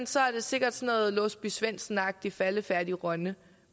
så er det sikkert sådan en låsby svendsen agtig faldefærdig rønne